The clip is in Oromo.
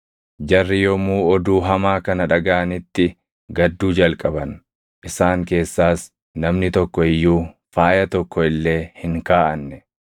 Jarri yommuu oduu hamaa kana dhagaʼanitti gadduu jalqaban; isaan keessaas namni tokko iyyuu faaya tokko illee hin kaaʼanne.